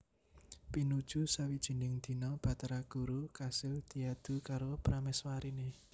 Pinuju sawijining dina Bathara Guru kasil diadu karo pramèswariné